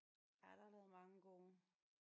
Ja der er lavet mange gode